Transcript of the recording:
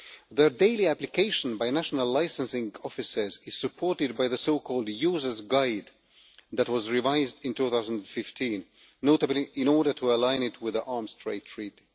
Their daily application by national licensing offices is supported by the so-called user's guide that was revised in 2015, notably in order to align it with the Arms Trade Treaty.